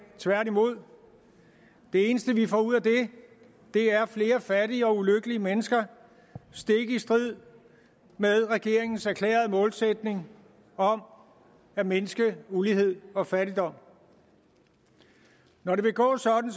tværtimod det eneste vi får ud af det er flere fattige og ulykkelige mennesker stik i strid med regeringens erklærede målsætning om at mindske ulighed og fattigdom når det vil gå sådan